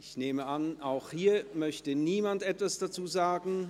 Ich nehme an, auch hierzu möchte niemand etwas sagen.